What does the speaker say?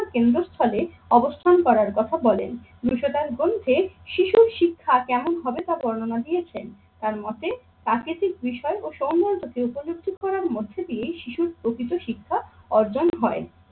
কেন্দ্রস্থলে অবস্থান করার কথা বলেন। গ্রন্থে শিশুর শিক্ষা কেমন হবে তা বর্ণনা দিয়েছেন। তার মতে প্রাকৃতিক বিষয় ও সৌন্দর্য কে উপলব্ধি করার মধ্যে দিয়েই শিশুর প্রকৃত শিক্ষা অর্জন হয়।